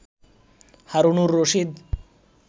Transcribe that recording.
Harunur Rashid